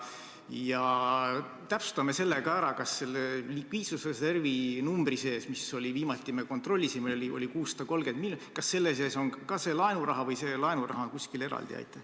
Ja täpsustame selle ka ära, kas selle likviidsusreservi numbri sees, mis viimati oli, me kontrollisime, 630 miljonit, on ka see laenuraha või laenuraha on kuskil eraldi?